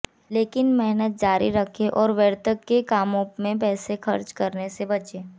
लेकिन मेहनत जारी रखें और व्यर्थ के कामों में पैसे खर्च करने से बचें